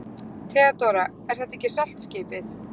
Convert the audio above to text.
THEODÓRA: Er þetta ekki saltskipið?